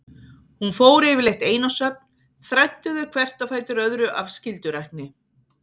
Hún fór yfirleitt ein á söfn, þræddi þau hvert á fætur öðru af skyldurækni.